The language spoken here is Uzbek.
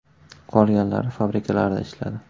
Qolganlari fabrikalarda ishladi.